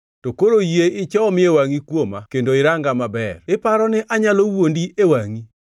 “To koro yie ichomie wangʼi kuoma kendo iranga maber iparo ni anyalo wuondi e wangʼi?